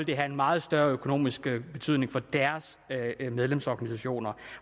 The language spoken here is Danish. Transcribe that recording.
det have en meget større økonomisk betydning for deres medlemsorganisationer